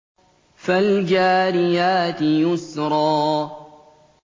فَالْجَارِيَاتِ يُسْرًا